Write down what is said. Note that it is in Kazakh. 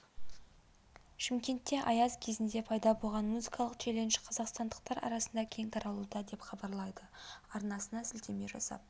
шымкентте аяз кезінде пайда болған музыкалық челлендж қазақстандықтар арасына кең таралуда деп хабарлайды арнасына сілтеме жасап